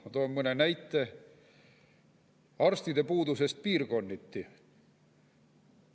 Ma toon mõne näite arstide puuduse kohta piirkonniti.